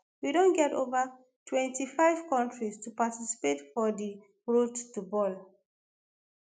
"we don get ova 25 kontris to participate for for di road to bal.